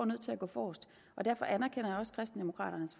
nødt til at gå forrest og derfor anerkender jeg også kristendemokraternes